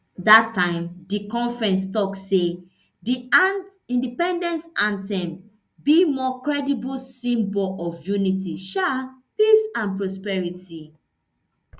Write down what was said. dat time di conference tok say di independence anthem be more credible symbol of unity um peace and prosperity